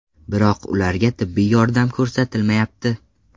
Biroq ularga tibbiy yordam ko‘rsatilmayapti.